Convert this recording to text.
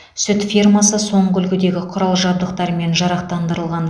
сүт фермасы соңғы үлгідегі құрал жабдықтармен жарақтандырылған